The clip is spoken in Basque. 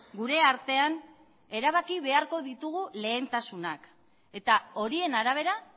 gure artean erabaki beharko ditugu lehentasunak eta horien arabera